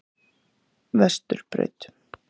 Vesturbraut